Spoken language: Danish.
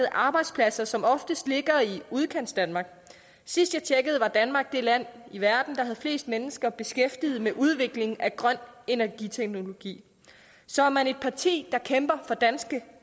arbejdspladser som oftest ligger i udkantsdanmark sidst jeg tjekkede var danmark det land i verden der havde flest mennesker beskæftiget med udvikling af grøn energiteknologi så er man et parti der kæmper for danske